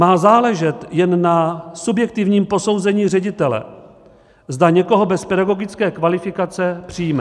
Má záležet jen na subjektivním posouzení ředitele, zda někoho bez pedagogické kvalifikace přijme.